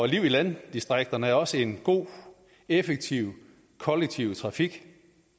i landdistrikterne er også en god og effektiv kollektiv trafik